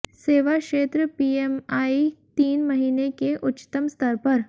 सेवा क्षेत्र पीएमआई तीन महीने के उच्चतम स्तर पर